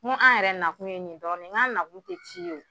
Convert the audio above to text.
N go an yɛrɛ nakun ye nin dɔrɔn de ye n go an na kun te ci ye o